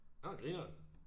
Nåh grineren